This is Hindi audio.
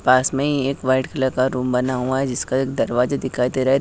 पास में ही एक वाईट कलर रूम बना हुआ है जिसका दरवाजा दिखाई दे रहा है।